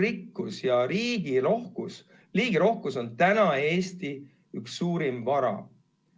Just elurikkus ja liigirohkus on Eesti suurimaid varasid.